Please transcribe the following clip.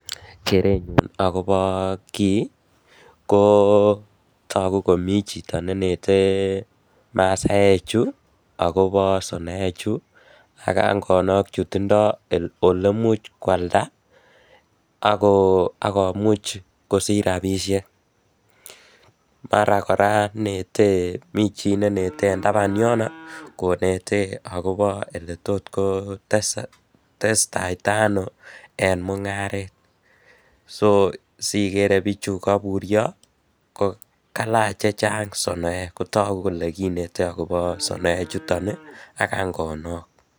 Kerenyun akobo kii ko togu komi chito nenetei mesachu akobo sonoechu ak angonok chutindo oleimuch kwalda ak komuch kosich rabisiek, mara kora mii chii neinete en taban yono konetee akobo oletotkotestaitaano en mung'aret, so sigere bichu koibuiyo kailach chechang' sonoek kotigu kole kinete akobo sonoechuton ii ak angonok.